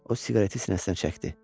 O siqareti sinəsinə çəkdi.